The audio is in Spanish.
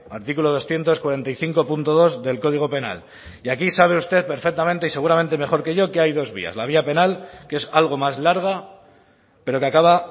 artículo doscientos cuarenta y cinco punto dos del código penal y aquí sabe usted perfectamente y seguramente mejor que yo que hay dos vías la vía penal que es algo más larga pero que acaba